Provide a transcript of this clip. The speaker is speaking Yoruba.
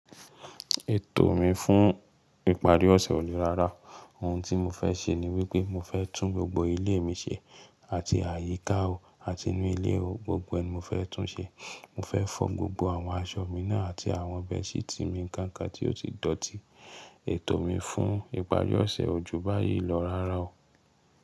Ètò mi fún ìparí ọ̀sẹ̀ ò lè rárá, ohun tí mo fẹ́ ṣe ni wípé mo fẹ́ tún gbogbo ilé mi ṣe àti àyíká o àti inú ilé o, gbogbo ẹ mo fẹ́ tún ṣe. Mo fẹ́ fọ́ gbogbo àwọn aṣọ mi náà àti àwọn bẹ́ẹ̀ṣí tí mi ń kaǹkàn tí ó ti dọ̀tí. Ètò mi fún ìparí ọ̀sẹ̀ ojú báyìí lọ rárá o.